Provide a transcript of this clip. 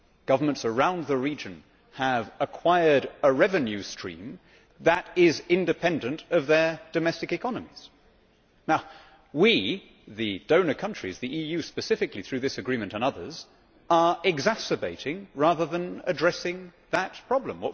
Governments around the region have acquired a revenue stream that is independent of their domestic economies. We, the donor countries the EU specifically through this agreement and others are exacerbating rather than addressing that problem.